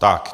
Tak.